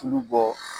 Tulu bɔ